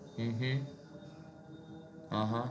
અ અ ઉહ